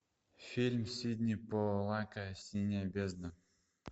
фильм сидни поллака синяя бездна